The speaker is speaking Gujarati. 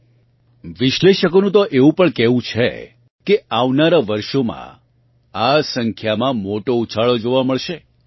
એનાલિસ્ટ્સનું તો એવું પણ કહેવું છે કે આવનારાં વર્ષોમાં આ સંખ્યામાં મોટો ઉછાળો જોવા મળશે